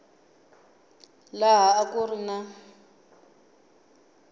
laha a ku ri na